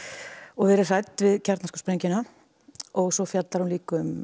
verið hrædd við kjarnorkusprengjuna og svo fjallar hún líka um